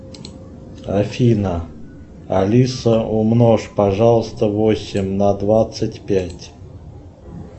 афина алиса умножь пожалуйста восемь на двадцать пять